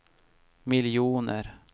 miljoner